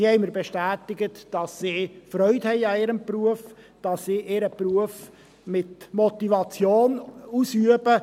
Sie haben mir bestätigt, dass sie Freude an ihrem Beruf haben und ihren Beruf motiviert ausüben.